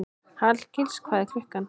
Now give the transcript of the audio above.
Hallgils, hvað er klukkan?